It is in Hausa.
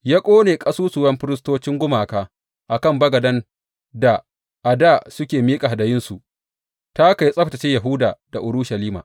Ya ƙone ƙasusuwan firistocin gumaka a kan bagaden da a dā suke miƙa hadayunsu, ta haka ya tsabtacce Yahuda da Urushalima.